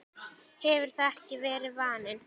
hefur það ekki verið vaninn?